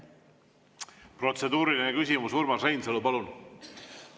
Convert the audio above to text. Protseduuriline küsimus, Urmas Reinsalu, palun!